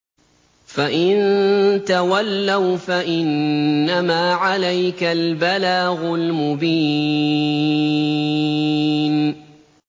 فَإِن تَوَلَّوْا فَإِنَّمَا عَلَيْكَ الْبَلَاغُ الْمُبِينُ